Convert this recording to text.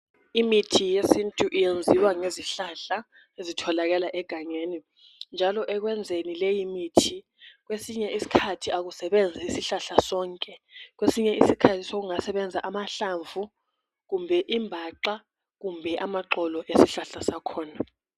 Imithi yesintu iyenziwa ngezihlahla ezitholakala egangeni njalo ekwenzeni leyi mithi kwesinye isikhathi akusebenzi isihlahla sonke kwesinye isikhathi sokungasebenza amahlamvu kumbe imbaxa kumbe amaxolo esihlahla sakhona